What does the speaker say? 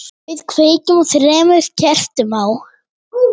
Við kveikjum þremur kertum á,